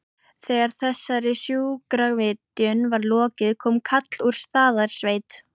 Þegar þessari sjúkravitjun var lokið kom kall úr Staðarsveit.